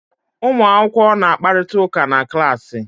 Ụmụ akwụkwọ na-akparịta ụka na klaasị.